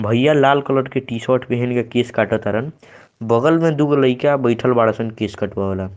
भइया लाल कलर के टी-शर्ट पहन के केश काटत तारन बगल में दुगो लइका बइठल बाड़सन केश कटवावेला।